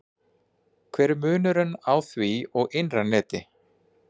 Hver er munurinn á því og innra neti?